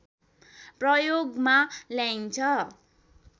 प्रयोगमा ल्याइन्छ